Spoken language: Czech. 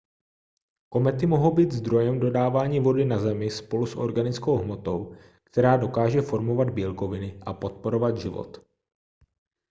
komety mohou být zdrojem dodávání vody na zemi spolu s organickou hmotou která dokáže formovat bílkoviny a podporovat život